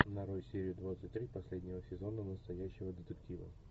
нарой серию двадцать три последнего сезона настоящего детектива